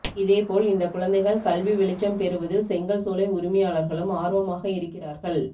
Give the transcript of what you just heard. இதே போல் இந்தக் குழந்தைகள் கல்வி வெளிச்சம் பெறுவதில் செங்கல் சூளை உரிமையாளர்களும் ஆர்வமாக இருக்கிறார்கள்